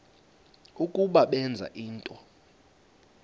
ukuba benza ntoni